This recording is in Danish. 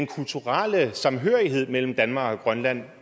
kulturelle samhørighed mellem danmark og grønland